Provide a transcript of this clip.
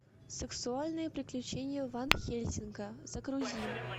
сексуальные приключения ван хельсинга загрузи